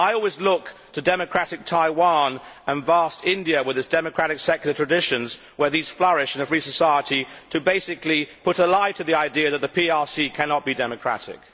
I always look to democratic Taiwan and vast India with its democratic secular traditions, where these flourish in a free society, to basically put a lie to the idea that the PRC cannot be democratic.